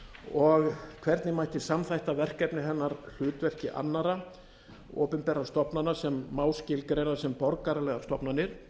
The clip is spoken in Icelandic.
og hvernig mætti samþætta verkefni hennar hlutverki annarra opinberra stofnana sem má skilgreina sem borgaralegar stofnanir